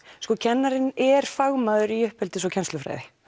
kennarinn er fagmaður í uppeldis og kennslufræði